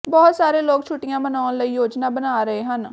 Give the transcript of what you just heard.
ਬਹੁਤ ਸਾਰੇ ਲੋਕ ਛੁੱਟੀਆਂ ਮਨਾਉਣ ਲਈ ਯੋਜਨਾ ਬਣਾ ਰਹੇ ਹਨ